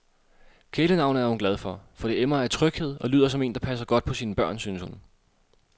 Kælenavnet er hun glad for, for det emmer af tryghed og lyder som en, der passer godt på sine børn, synes hun.